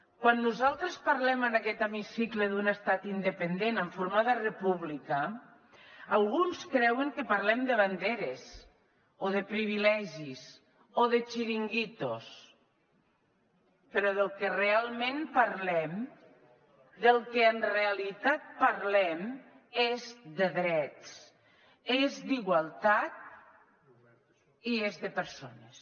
quan nosaltres parlem en aquest hemicicle d’un estat independent en forma de república alguns creuen que parlem de banderes o de privilegis o de xiringuitos però del que realment parlem del que en realitat parlem és de drets és d’igualtat i és de persones